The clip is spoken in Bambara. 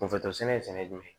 Kunfoto sɛnɛ ye sɛnɛ ye jumɛn